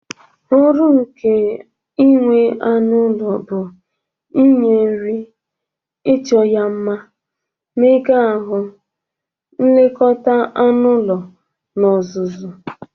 Ọrụ nke inwe anụ ụlọ but inye nri, icho ya nma, mmega ahụ, nlekọta anụ ụlọ, na ọzụzụ.